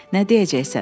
Nə deyəcəksən?